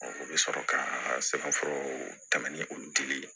o bɛ sɔrɔ ka sɛbɛnfura tɛmɛ ni olu dili ye